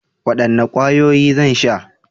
Wadanne kwayoyi zan sha?